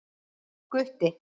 Gutti